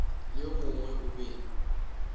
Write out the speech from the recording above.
le yo mongwe o be